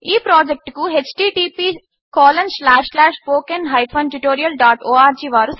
ఈ ప్రాజెక్ట్కు httpspoken tutorialorg